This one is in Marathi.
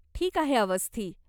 ठीक आहे अवस्थी.